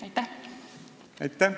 Aitäh!